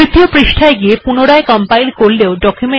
এখন তাহলে তৃতীয় পৃষ্ঠায় যাওয়া যাক এবং পুনরায় কম্পাইল করা যাক